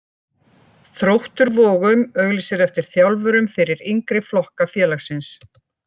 Þróttur Vogum auglýsir eftir þjálfurum fyrir yngri flokka félagsins.